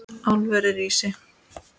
Álverið rísi!